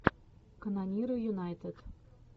канониры юнайтед